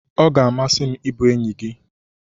Ọ ga-amasị m ịbụ enyi gị.